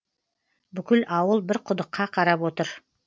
бүкіл ауыл бір құдыққа қарап отыр